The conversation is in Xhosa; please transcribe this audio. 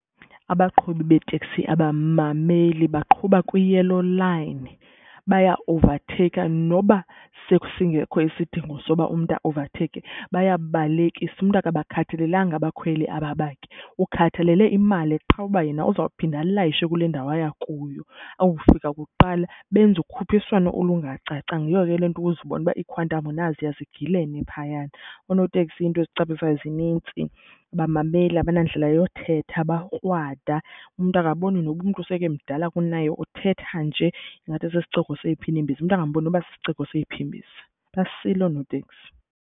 Abaqhubi beetekisi abamameli baqhuba kwi-yellow line, baya owuvatheyikha noba sesingekho isidingo soba umntu aowuvatheyikhe bayabalekisa. Umntu akabakhathalelanga abakhweli aba bakhe, ukhathalele imali qha uba yena uzawuphinda alayishe kule ndawo aya kuyo awufika kuqala, benza ukhuphiswano olungacacanga. Yiyo ke le nto ukuzibone uba iiQuantum naziya zigilene phayana. Oonoteksi iinto ezicaphukisayo zinintsi, abamameli, abanandlela yothetha, bakrwada. Umntu akaboni noba umntu seke emdala kunaye uthetha nje ingathi sisiciko seyiphi imbiza. Umntu angamboni noba sisiciko seyiphi imbiza, basile oonotekisi.